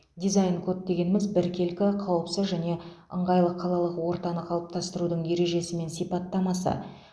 дизайн код дегеніміз біркелкі қауіпсіз және ыңғайлы қалалық ортаны қалыптастырудың ережесі мен сипаттамасы